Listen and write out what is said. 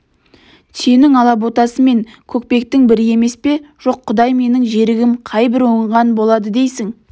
түйенің алаботасы мен көкпектің бірі емес пе жоқ құдай менің жерігім қай бір оңған болады дейсің